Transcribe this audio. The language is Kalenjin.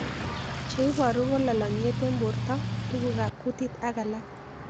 Che ibaru ko lalang'iet eng' porto, tuguk ab kutit ak alak